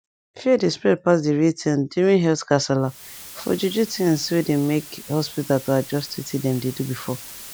fear dey spread pass the real thing during health gasala for juju thingsway they make hospita to adjust wetin them dey do before